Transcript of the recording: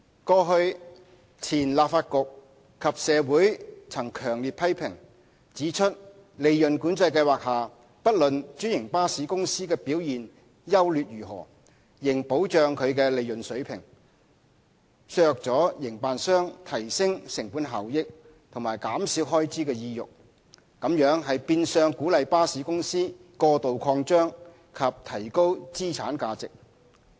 過去，前立法局及社會曾強烈批評，指出在利潤管制計劃下，不論專營巴士公司的表現優劣如何，仍保障其利潤水平，削弱了營辦商提升成本效益和減少開支的意欲，這變相鼓勵巴士公司過度擴張及提高資產價值。